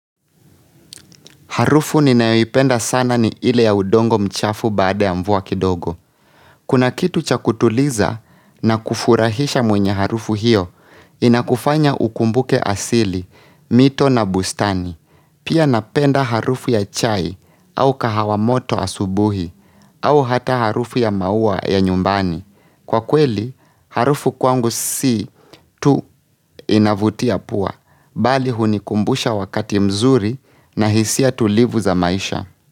Harufu ninayoipenda sana ni ile ya udongo mchafu baada ya mvua kidogo. Kuna kitu cha kutuliza na kufurahisha mwenye harufu hiyo, inakufanya ukumbuke asili, mito na bustani. Pia napenda harufu ya chai au kahawa moto asubuhi, au hata harufu ya maua ya nyumbani. Kwa kweli, harufu kwangu si tu inavutia pua, bali hunikumbusha wakati mzuri na hisia tulivu za maisha.